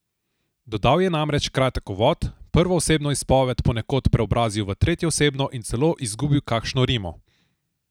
Dodal je namreč kratek uvod, prvoosebno izpoved ponekod preobrazil v tretjeosebno in celo izgubil kakšno rimo.